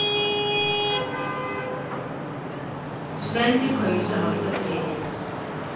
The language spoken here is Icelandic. Svenni kaus að halda friðinn.